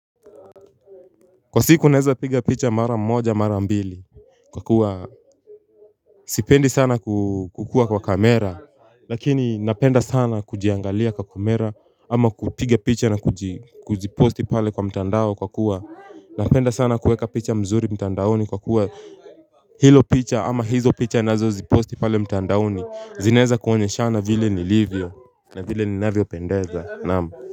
Kwa siku naeza piga picha mara moja mara ambili. Kwa kuwa sipendi sana kukua kwa kamera lakini napenda sana kujiangalia kwa kamera ama kupiga picha na kujiposti pale kwa mtandao kwa kuwa napenda sana kuweka picha mzuri mtandaoni kwa kuwa hilo picha ama hizo picha nazo ziposti pale mtandaoni zinaeza kuonyeshana vile ni livyo na vile ni navyopendeza naam. Kwa hivyo.